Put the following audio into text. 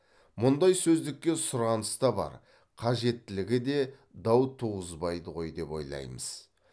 мұндай сөздікке сұраныс та бар қажеттілігі де дау туғызбайды ғой деп ойлаймыз